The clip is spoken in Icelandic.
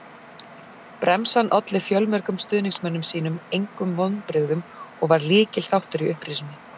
Bremsan olli fjölmörgum stuðningsmönnum sínum engum vonbrigðum og var lykilþáttur í upprisunni.